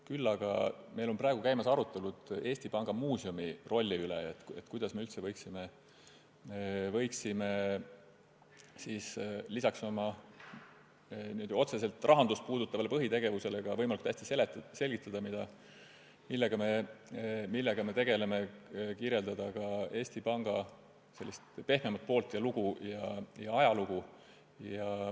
Küll aga on meil praegu käimas arutelud Eesti Panga muuseumi rolli üle: kuidas me üldse võiksime lisaks oma otseselt rahandust puudutavale põhitegevusele võimalikult hästi selgitada, millega me tegeleme, kirjeldada ka Eesti Panga pehmemat poolt, tema ajalugu.